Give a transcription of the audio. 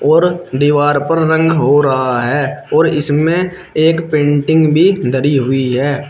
और दीवार पर रंग हो रहा है और इसमें एक पेंटिंग भी धरी हुई है।